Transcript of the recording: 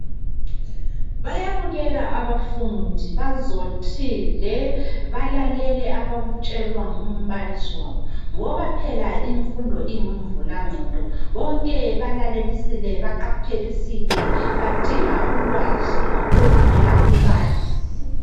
Bayabukeka abafundi bazothile balalele abakutshelwa ngumbalisi wabo ngoba phela imfundo ingumvulagqondo bonke balalelisile baqaphelisile badinga ulwazi oluvela kumbalisi.